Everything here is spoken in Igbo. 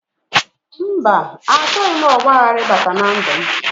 Mba, achọghị m ọgbaghara bata na ndụ m